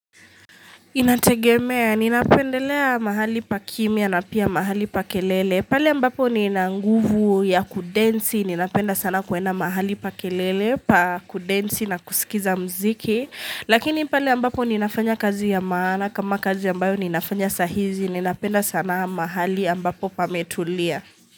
Inategemea, ninapendelea mahali pa kimia na pia mahali pa kelele, pale ambapo nina nguvu ya kudansi, ninapenda sana kuenda mahali pa kelele, pa kudensi na kusikiza mziki Lakini pale ambapo ninafanya kazi ya maana, kama kazi ambayo ninafanya sahizi, ninapenda sana mahali ambapo pametulia.